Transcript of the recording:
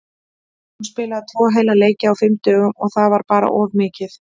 Hún spilaði tvo heila leiki á fimm dögum og það var bara of mikið.